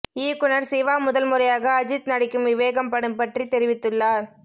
இயக்குநர் சிவா முதல்முறையாக அஜித் நடிக்கும் விவேகம் படம் பற்றி தெரிவித்துள்ளார்